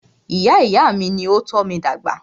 Ìyá ìyá à mí ní o tọ́ mí dàgbà.